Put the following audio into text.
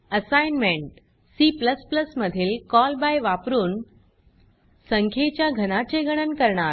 assignment C मधील call by वापरुन संख्येच्या घनाचे गणन करणार